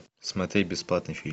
смотреть бесплатный фильм